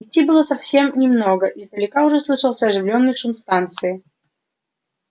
идти было совсем немного издалека уже слышался оживлённый шум станции